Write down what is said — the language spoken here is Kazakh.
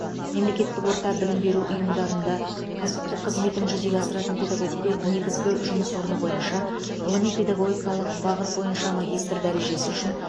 мемлекеттік орта білім беру ұйымында кәсіптік қызметін жүзеге асыратын педагогке негізгі жұмыс орны бойынша ғылыми педагогикалық бағыт бойынша магистр дәрежесі үшін